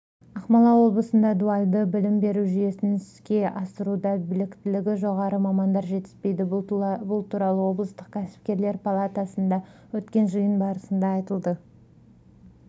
ақмола облысында дуальды білім беру жүйесін іске асыруда біліктілігі жоғары мамандар жетіспейді бұл туралы облыстық кәсіпкерлер палатасында өткен жиын барысында айтылды